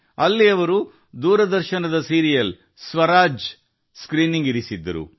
ಅಲ್ಲಿ ದೂರದರ್ಶನ ಧಾರಾವಾಹಿ ಸ್ವರಾಜ್ ಪ್ರದರ್ಶನ ಏರ್ಪಡಿಸಿದ್ದರು